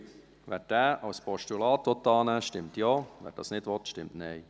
Wer diesen als Postulat annehmen will, stimmt Ja, wer das nicht will, stimmt Nein.